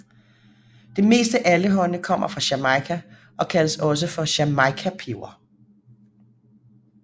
Det meste allehånde kommer fra Jamaica og kaldes også for jamaicapeber